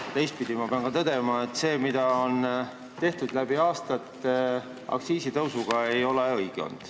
Aga teistpidi pean ka tõdema, et see, mida on läbi aastate aktsiisitõusuga tehtud, ei ole olnud õige.